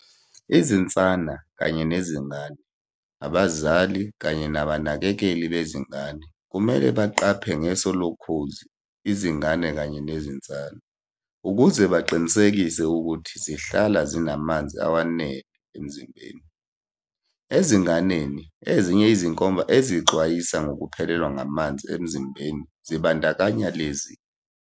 Izinsana kanye nezingane. Abazali kanye nabanakekeli bezingane kumele baqaphe ngeso lokhozi izingane kanye nezinsana, ukuze baqinisekise ukuthi zihlala zinamanzi awenele emzimbeni. Ezinganeni, ezinye izinkomba ezixwayisa ngokuphelelwa ngamanzi emzimbeni zibandakanya lezi.